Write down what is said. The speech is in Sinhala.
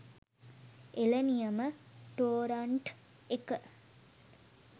එළ නියම ටොරන්ට් එක.